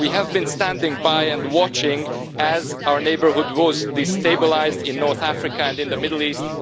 We have been standing by and watching as our neighbourhood was destabilised in North Africa and in the Middle East.